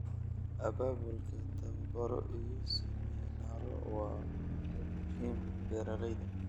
Abaabulka tababaro iyo siminaaro waa u muhiim beeralayda.